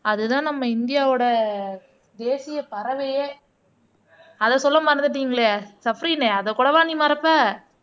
அதுதான் நம்ம இந்தியாவோட தேசிய பறவையே அதை சொல்ல மறந்துட்டீங்களே சஃப்ரின் அதை கூடவா நீ மறப்ப